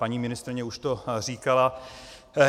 Paní ministryně už to říkala.